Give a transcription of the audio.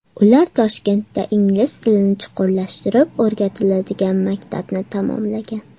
Ular Toshkentda ingliz tilini chuqurlashtirib o‘rgatiladigan maktabni tamomlagan.